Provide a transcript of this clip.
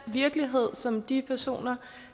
virkelighed som de personer